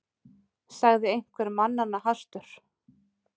sagði einhver mannanna hastur.